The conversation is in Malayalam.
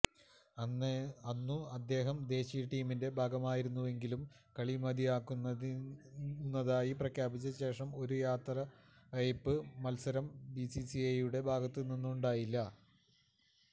അന്നു അദ്ദേഹം ദേശീയ ടീമിന്റെ ഭാഗമായിരുന്നെങ്കിലും കളി മതിയാക്കുന്നതായി പ്രഖ്യാപിച്ച ശേഷം ഒരു യാത്രയയപ്പ് മല്സരം ബിസിസിഐയുടെ ഭാഗത്തു നിന്നുണ്ടായില്ല